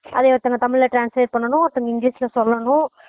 அதைய ஒருத்தவங்க தமிழ் ல translate பண்ணனும் ஒருத்தவங்க english ல சொல்லணும்